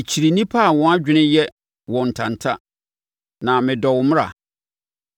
Mekyiri nnipa a wɔn adwene yɛ wɔn ntanta, na medɔ wo mmara.